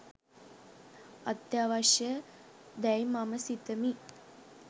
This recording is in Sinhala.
අත්‍යවශ්‍ය දැයි මම සිතමි